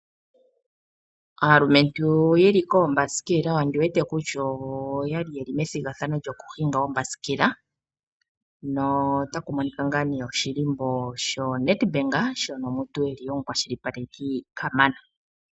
Aalumentu yeli koombasikela ondi wete kutya oyali yeli methigathano lyoombasikela notaku monika woo ngaa nee sho NEDBANK shono osho shili omukwashilipaleki kamana .